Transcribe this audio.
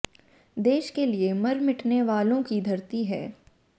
देश के लिए मर मिटने वालों की धरती है